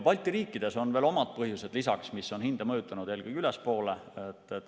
Balti riikides on veel omad põhjused lisaks, mis on hinda mõjutanud eelkõige ülespoole.